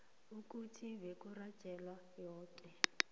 ukuthi beburhatjheka yoke